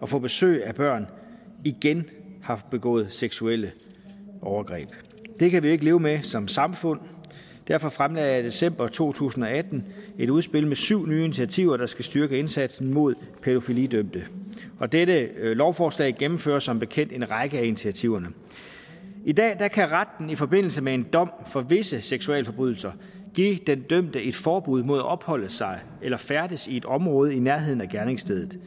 og få besøg af børn igen har begået seksuelle overgreb det kan vi ikke leve med som samfund og derfor fremlagde jeg i december to tusind og atten et udspil med syv nye initiativer der skal styrke indsatsen mod pædofilidømte og dette lovforslag gennemfører som bekendt en række af initiativerne i dag kan kan retten i forbindelse med en dom for visse seksualforbrydelser give den dømte et forbud mod at opholde sig eller færdes i et område i nærheden af gerningsstedet